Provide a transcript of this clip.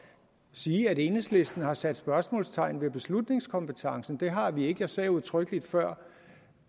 sige at enhedslisten har sat spørgsmålstegn ved beslutningskompetencen det har vi ikke jeg sagde udtrykkeligt før